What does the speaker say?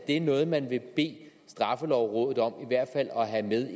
er noget man vil bede straffelovrådet om